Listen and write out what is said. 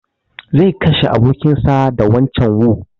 Zai kashe abokin sa da wancan wu